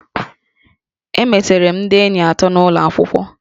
Emetere m ndị enyi atọ n'ụlọ akwụkwọ